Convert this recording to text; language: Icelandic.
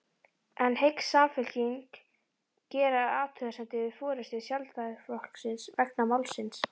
En hyggst Samfylkingin gera athugasemdir við forystu Sjálfstæðisflokksins vegna málsins?